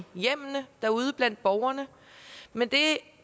hjemmene derude blandt borgerne men